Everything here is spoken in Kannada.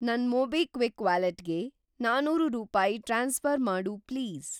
ನನ್‌ ಮೊಬಿಕ್ವಿಕ್ ವ್ಯಾಲೆಟ್‌ಗೆ ನಾನೂರು ರೂಪಾಯಿ ಟ್ರಾನ್ಸ್‌ಫ಼ರ್‌ ಮಾಡು ಪ್ಲೀಸ್.